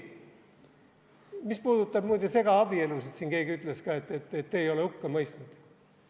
Mis puudutab, muide, segaabielusid, siin keegi ütles ka, et te ei ole hukka mõistnud.